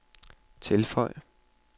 tilføj